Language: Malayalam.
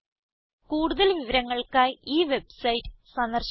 കൂടുതൽ വിവരങ്ങൾക്കായി ഈ വെബ്സൈറ്റ് സന്ദർശിക്കുക